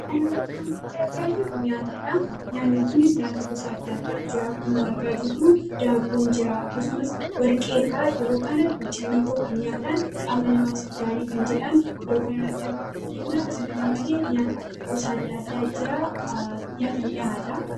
aanratti waanti masa argaa jiru nyaata dha nyaanniikunis nyaata gosaadda addaa jira akkuma argaa jiru daaboon jira akkasumas warqeerraa yeroo kana tokhaaniitoo kan nyaataan qaama namaatif gaarii kan jedhaan iddoo kana racha rgudenaa isakkana malee nyaata gosaaddaaddaa jiraa nyaata dhahaada